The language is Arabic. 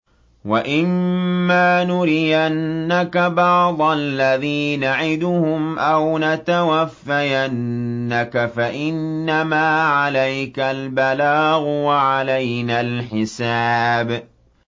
وَإِن مَّا نُرِيَنَّكَ بَعْضَ الَّذِي نَعِدُهُمْ أَوْ نَتَوَفَّيَنَّكَ فَإِنَّمَا عَلَيْكَ الْبَلَاغُ وَعَلَيْنَا الْحِسَابُ